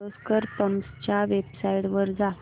Kirloskar pumps च्या website वर जा